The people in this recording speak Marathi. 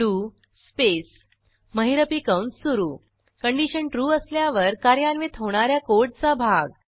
डीओ स्पेस महिरपी कंस सुरू कंडिशन ट्रू असल्यावर कार्यान्वित होणा या कोडचा भाग